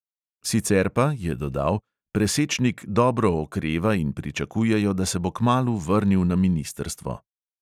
Sicer pa, je dodal, presečnik dobro okreva in pričakujejo, da se bo kmalu vrnil na ministrstvo.